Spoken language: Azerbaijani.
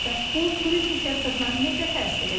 Bəs bu turizm sektoruna necə təsir edəcək?